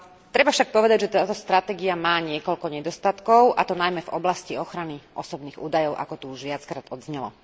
Treba však povedať, že táto stratégia má niekoľko nedostatkov, a to najmä v oblasti ochrany osobných údajov, ako tu už viackrát odznelo.